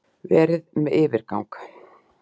Verið með yfirgang.